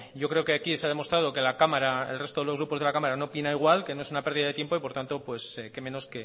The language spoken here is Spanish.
yo creo que aquí se ha demostrado que la cámara que el resto de los grupos de la cámara no opina igual que no es una pérdida de tiempo por tanto qué menos